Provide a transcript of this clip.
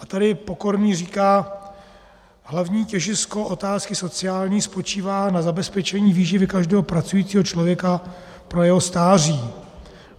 A tady Pokorný říká: Hlavní těžisko otázky sociální spočívá na zabezpečení výživy každého pracujícího člověka pro jeho stáří.